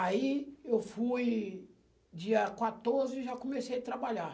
Aí eu fui dia quatorze e já comecei trabalhar.